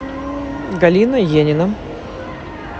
галина енина